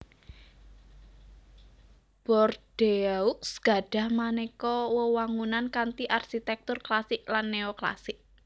Bordeaux gadhah manéka wewangunan kanthi arsitèktur klasik lan néoklasik